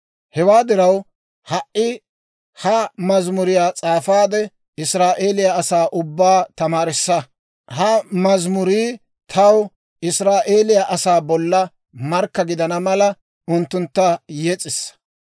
«Hewaa diraw, ha"i ha mazimuriyaa s'aafaade, Israa'eeliyaa asaa ubbaa tamaarissa. Ha mazimurii taw Israa'eeliyaa asaa bolla markka gidana mala, unttuntta yes'issa.